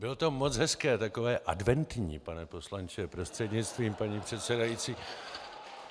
Bylo to moc hezké, takové adventní, pane poslanče prostřednictvím paní předsedající.